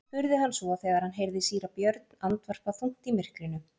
spurði hann svo þegar hann heyrði síra Björn andvarpa þungt í myrkrinu.